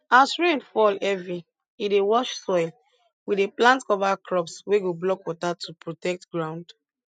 as rain fall heavy e dey wash soil we dey plant cover crops wey go block water to protect ground